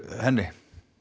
henni